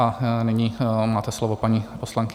A nyní máte slovo, paní poslankyně.